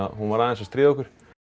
hún var aðeins að stríða okkur